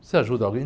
Você ajuda alguém?